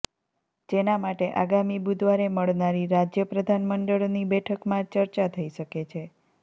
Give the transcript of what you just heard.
જેના માટે આગામી બુધવારે મળનારી રાજ્યપ્રધાન મંડળની બેઠકમાં ચર્ચા થઈ શકે છે